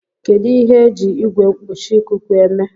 Kedu ihe eji Igwe mkpuchi ikuku eme